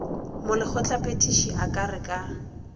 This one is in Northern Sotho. molekgotlaphethiši a ka re ka